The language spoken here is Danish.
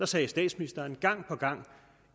sagde statsministeren gang på gang